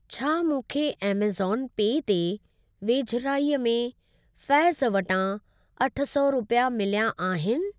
छा मूंखे ऐमज़ॉन पे ते वेझिराईअ में फैज़ वटां अठ सौ रुपिया मिल्या आहिनि?